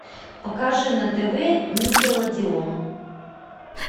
покажи на тв никелодеон